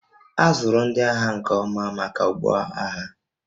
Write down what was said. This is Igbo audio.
A zụrụ ndị agha nke ọma maka ọgbọ agha